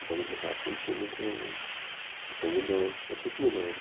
A banda de rock não tinha muita... Depois mudou, vai sempre mudando.